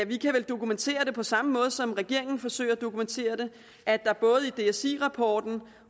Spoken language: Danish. vi kan vel dokumentere det på samme måde som regeringen forsøger at dokumentere det at der både i dsi rapporten